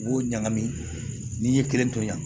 U b'o ɲagami ni ye kelen to yen